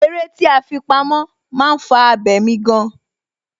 Eré tí a fi pamó, máa ń fà abemi gan.